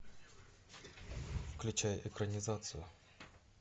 включай экранизацию